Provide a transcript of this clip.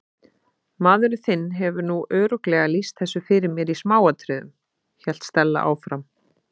Maðurinn þinn hefur nú örugglega lýst þessu fyrir þér í smáatriðum- hélt Stella áfram.